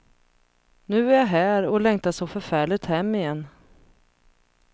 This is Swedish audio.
Nu är jag här och längtar så förfärligt hem igen.